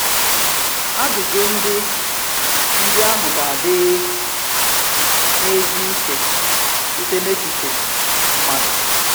Àjụjụ ndị ndị ahụ ga-àdị n’ezi ùche site n’echiche mmadụ.